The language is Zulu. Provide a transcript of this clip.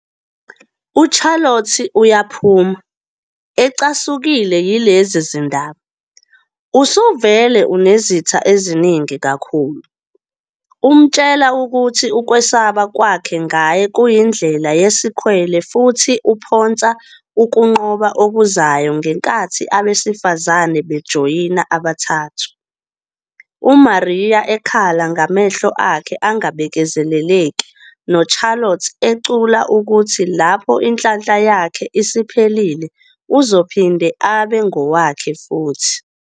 UCharlotte uyaphuma, ecasukile yilezi zindaba, "Usuvele unezitha eziningi kakhulu", umtshela ukuthi ukwesaba kwakhe ngaye kuyindlela yesikhwele futhi uphonsa ukunqoba okuzayo ngenkathi abesifazane bejoyina abathathu, uMaria ekhala ngamehlo akhe angabekezeleleki noCharlotte ecula ukuthi lapho inhlanhla yakhe isiphelile uzophinde abe ngowakhe futhi.